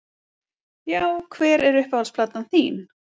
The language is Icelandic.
já Hver er uppáhalds platan þín?